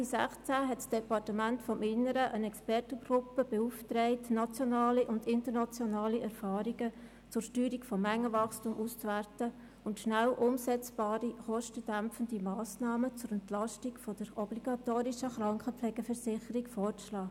Ende 2016 hat das Eidgenössische Departement des Inneren (EDI) eine Expertengruppe beauftragt, nationale und internationale Erfahrungen zur Steuerung des Mengenwachstums auszuwerten und rasch umsetzbare kostendämpfende Massnahmen zur Entlastung der obligatorischen Krankenpflegeversicherung vorzuschlagen.